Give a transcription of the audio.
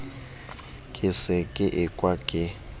ke se ke ekwa ke